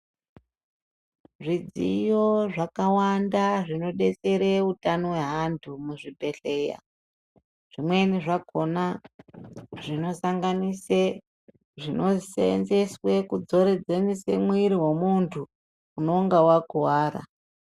Zvidziyo zvakawanda zvinodetsere utano hweantu muzvibhedhleya, zvimweni zvakona zvinosanganise zvinoseenzeswe kudzoredzemise mwiri wemuntu unenge wakuwara.